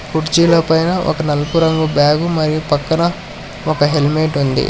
కుర్చీల పైన ఒక నలుపు రంగు బ్యాగు మరియు పక్కన ఒక హెల్మెట్ ఉంది.